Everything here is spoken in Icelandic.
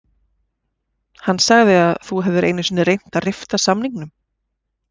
Hann sagði að þú hefðir einu sinni reynt að rifta samningnum